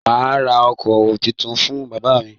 Mà á ra ọkọ títún fún bàbá mí.